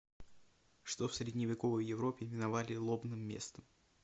что в средневековой европе именовали лобным местом